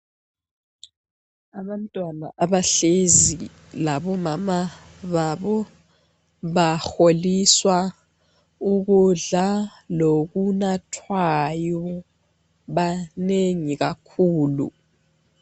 Abantwana abahlezi labomama babo baholiswa ukudla lokunathwayo, banengi kakhulu.